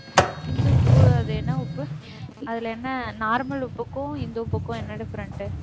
இந்து உப்பு அது என்ன உப்பு அதுல என்ன normal உப்புக்கும் இந்து உப்புக்கும் என்ன different